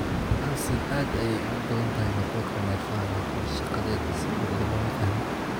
Alsin aad ayay ugu badan tahay matoorka neerfaha, laakiin shaqadeeda si buuxda looma fahmin.